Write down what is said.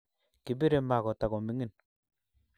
Kibirei ma Kota komining